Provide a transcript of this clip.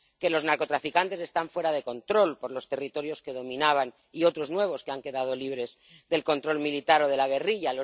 Que los narcotraficantes están fuera de control por los territorios que dominaban y otros nuevos que han quedado libres del control militar o de la guerrilla.